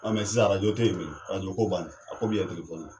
sisan te yen bilen ko ban na, a ko bi yɛ ye.